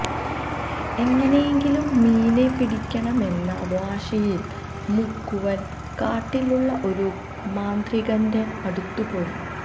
എങ്ങനെയെങ്കിലും മീനെ പിടിക്കണമെന്ന വാശിയില് മുക്കുവന് കാട്ടിലുള്ള ഒരു മാന്ത്രികന്റെ അടുത്തുപോയി